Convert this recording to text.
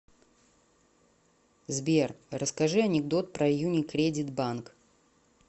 сбер расскажи анекдот про юникредит банк